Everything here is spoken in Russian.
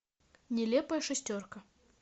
нелепая шестерка